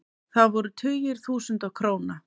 Það voru tugir þúsunda króna.